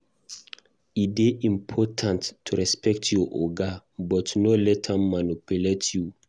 E dey important to respect your oga, but no let am manipulate you.